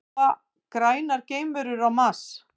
Búa grænar geimverur á Mars?